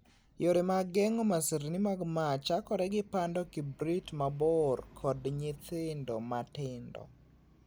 Yore mag geng'o masirni mag mach chakore gi pando kibrit mabor kod nyithindo matindo.